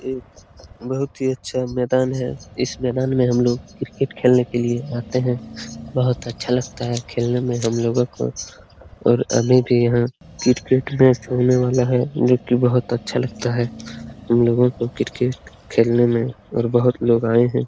एक बहुत ही अच्छा मैदान है। इस मैदान में हम लोग क्रिकेट खेलने के लिए आते हैं। बहुत अच्छा लगता है खेलने में हम लोगो को और अभी भी यहाँ क्रिकेट मैच होने वाला है जो की बहुत अच्छा लगता है हम लोगों को क्रिकेट खेलने में और बहुत लोग आये हैं।